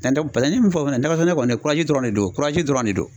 paseke n ye min fɔ fɛnɛ fana nakɔsɛnɛ kɔni dɔrɔn de don dɔrɔn de do.